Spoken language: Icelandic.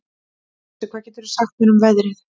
Kusi, hvað geturðu sagt mér um veðrið?